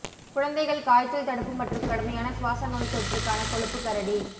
குழந்தைகள் காய்ச்சல் தடுப்பு மற்றும் கடுமையான சுவாச நோய்த்தொற்றுக்கான கொழுப்பு கரடி